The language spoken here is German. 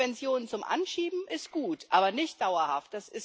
Subventionen zum Anschieben sind gut, aber nicht dauerhaft.